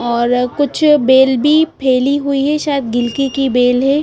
और कुछ बेल भी फैली हुई है शायद गिलकी की बेल है।